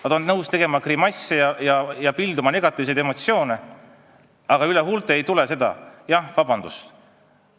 Nad on nõus tegema grimasse ja pilduma negatiivseid emotsioone, aga üle huulte ei tule: "Vabandust!